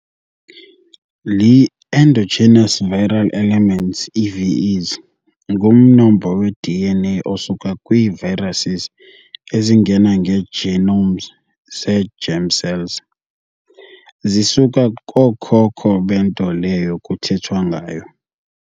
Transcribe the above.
Ii-endogenous viral elements EVEs ngumnombo we-DNA osuka kwii-viruses ezingena ngee-genomes zee-germ cells. zisuka kookhokho bento leyo kuthethwa ngayo.